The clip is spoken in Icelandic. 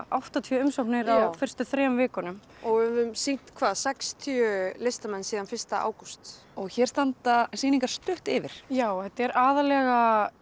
áttatíu umsóknir á fyrstu þremur vikunum og höfum sýnt sextíu listamenn síðan fyrsta ágúst hér standa sýningar stutt yfir já þetta er aðallega